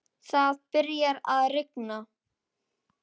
Það byrjar að rigna.